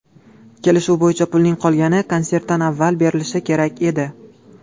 Kelishuv bo‘yicha, pulning qolgani konsertdan avval berilishi kerak edi.